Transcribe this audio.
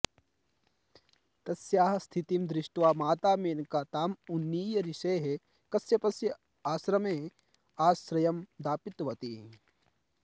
तस्याः स्थितिं दृष्ट्वा माता मेनका ताम् उन्नीय ऋषेः कश्यपस्य आश्रमे आश्रयम् दापितवती